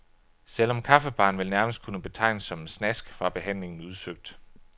Selv om kaffebaren vel nærmest kunne betegnes som en snask, var behandlingen udsøgt.